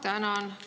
Ma tänan!